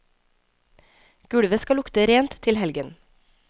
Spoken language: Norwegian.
Gulvet skal lukte rent til helgen.